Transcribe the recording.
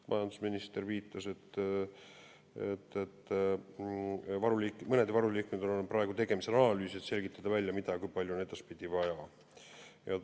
Majandusminister viitas, et mõne varuliigi puhul on praegu tegemisel analüüs, et selgitada välja, mida ja kui palju on edaspidi vaja.